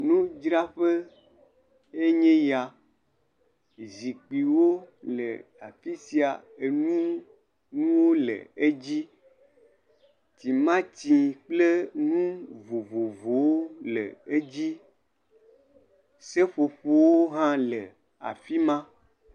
Nudzraƒe ye nye ya. Zikpuiwo le afi sia. Enuɖunuwo le edzi. Timati kple enu vovovowo le edzi. Seƒoƒowo hã le afi ma.